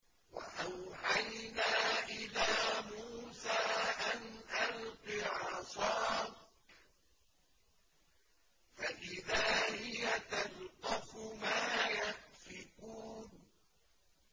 ۞ وَأَوْحَيْنَا إِلَىٰ مُوسَىٰ أَنْ أَلْقِ عَصَاكَ ۖ فَإِذَا هِيَ تَلْقَفُ مَا يَأْفِكُونَ